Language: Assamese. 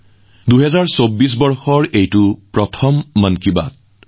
২০২৪ চনৰ এয়া প্ৰথমটো মন কী বাত অনুষ্ঠান